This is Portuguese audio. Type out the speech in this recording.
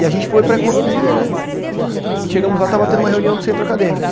E a gente foi para a economia, né, e chegamos lá, estava tendo uma reunião do centro acadêmico.